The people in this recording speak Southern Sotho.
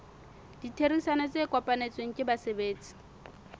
ditherisano tse kopanetsweng ke basebetsi